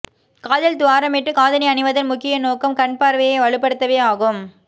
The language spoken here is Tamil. காதில் துவாரமிட்டு காதணி அணிவதன் முக்கிய நோக்கம் கண் பார்வையை வலுப்படுத்தவே ஆகும்